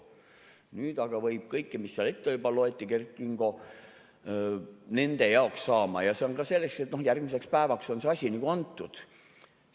Nüüd aga võib kõigeks, mille Kert Kingo seal ette juba luges, luba saada ja see on ka nii, et järgmiseks päevaks on see asi nagu antud.